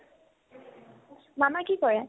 মামাই কি কৰে ?